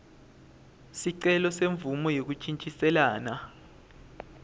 sicelo semvumo yekuntjintjiselana